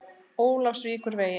Ólafsvíkurvegi